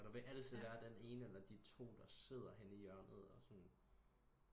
Og der vil altid være den ene eller de to der sidder henne i hjørnet og sådan